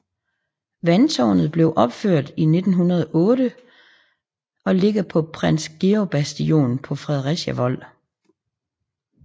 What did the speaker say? Vandtårnet blev opført i 1908 og ligger på Prins Georgs Bastion på Fredericia Vold